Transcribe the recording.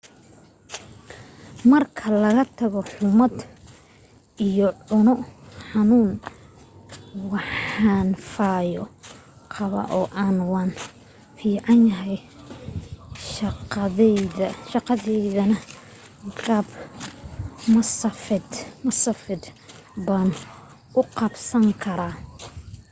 marka laga tago xummad iyo cuno xanuun waan fayo qabaa oo waan fiicnahay shaqadaydana qaab masaafeed baan u qabsan karaa